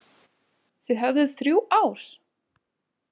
Þið höfðuð þrjú ár!